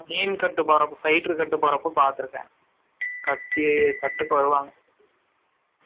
மீன் கட்டு போரப்ப fighter கட்டு போரப்ப பாத்து இருக்கேன் கட்டி கட்டுக்கு வருவாங்க